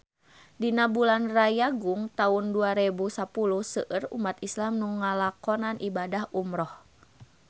Dina bulan Rayagung taun dua rebu sapuluh seueur umat islam nu ngalakonan ibadah umrah